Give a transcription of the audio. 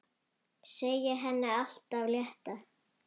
Segja henni allt af létta.